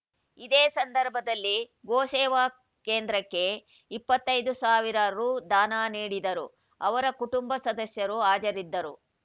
ಇದೇ ಸಂದರ್ಭದಲ್ಲಿ ಗೋ ಸೇವಾ ಕೇಂದ್ರಕ್ಕೆ ಇಪ್ಪತ್ತೈದು ಸಾವಿರ ರು ದಾನ ನೀಡಿದರು ಅವರ ಕುಟುಂಬ ಸದಸ್ಯರು ಹಾಜರಿದ್ದರು